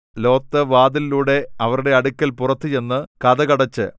Lot വാതിലിലൂടെ അവരുടെ അടുക്കൽ പുറത്തു ചെന്നു കതക് അടച്ച്